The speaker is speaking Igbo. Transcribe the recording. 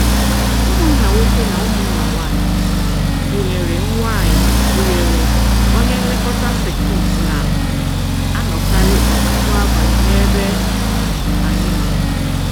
Ụmụnna nwoke na ụmụnna nwaanyị, gụnyere nwaanyị, gụnyere onye nlekọta sekit na-anọkarị ọtụtụ abalị n’ebe anyị nọ.